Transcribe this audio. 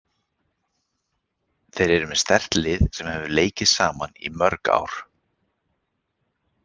Þeir eru með sterkt lið sem hefur leikið saman í mörg ár.